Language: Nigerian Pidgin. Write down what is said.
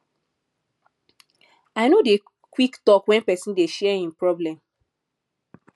i no dey quick talk wen pesin dey share im problem